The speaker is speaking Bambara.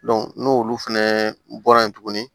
n'olu fɛnɛ bɔra yen tuguni